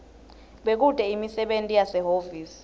bekute imisebenti yasehhovisi